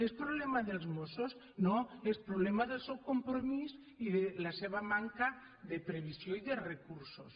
és problema dels mossos no és problema del seu compromís i de la seva manca de previsió i de recursos